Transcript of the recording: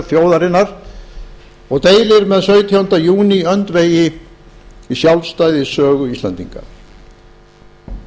þjóðarinnar deilir með sautjánda júní öndvegi í sjálfstæðissögu íslendinga hvernig má